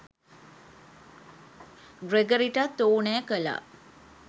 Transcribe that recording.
ග්‍රෙගරිටත් ඕනෑ කළා